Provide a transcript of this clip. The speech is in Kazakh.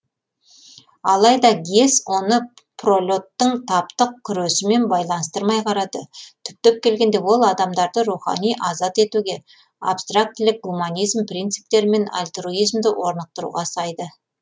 алайда гесс оны пролет тің таптық күресімен байланыстырмай қарады түптеп келгенде ол адамдарды рухани азат етуге абстрактілік гуманизм принциптері мен альтруизмді орнықтыруға сайды